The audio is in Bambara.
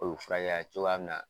O bi fura kɛ ya cogoya mun na